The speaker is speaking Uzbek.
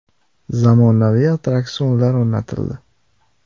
Zamonaviy attraksionlar o‘rnatildi.